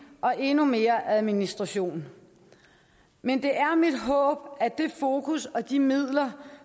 og endnu mere administration men det er mit håb at det fokus og de midler